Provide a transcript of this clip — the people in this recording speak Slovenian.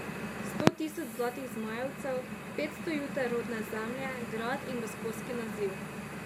Sto tisoč zlatih zmajevcev, petsto juter rodne zemlje, grad in gosposki naziv.